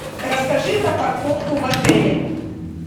расскажи про парковку в отеле